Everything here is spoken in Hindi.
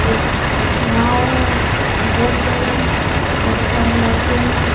एक नाव है देख पा लहा हूं वो सारे लड़के हैं।